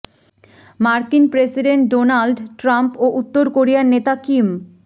মার্কিন president Donald Trump ও উত্তর কোরিয়ার নেতা কিম